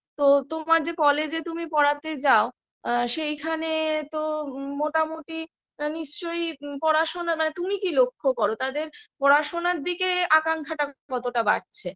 তো তোমার যে college -এ তুমি পড়াতে যাও সেইখানে তো মোটামুটি নিশ্চয়ই পড়াশোনা মানে তুমি কি লক্ষ্য কর তাদের পড়াশোনার দিকে আকাঙ্ক্ষাটা কতটা বাড়ছে